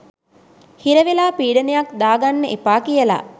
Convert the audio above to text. හිරවෙලා පීඩනයක් දාගන්න එපා කියල.